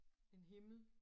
En himmel